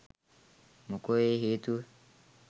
මොකෝ ඒ හේතුව